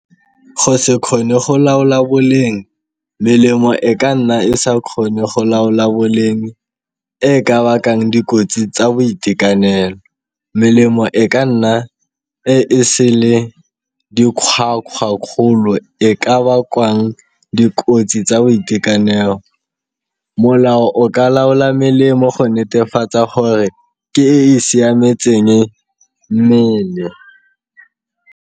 Go se kgone go laola boleng melemo e ka nna e sa kgone go laola boleng e ka bakang dikotsi tsa boitekanelo, melemo e ka nna e e sele dikgwakgwa kgolo e ka bakwang dikotsi tsa boitekanelo. Molao o ka laola melemo go netefatsa gore ke e e siametseng mmele.